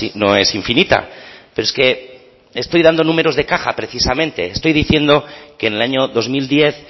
no es infinita pero es que estoy dando números de caja precisamente estoy diciendo que en el año dos mil diez